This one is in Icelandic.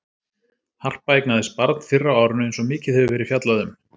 Harpa eignaðist barn fyrr á árinu eins og mikið hefur verið fjallað um.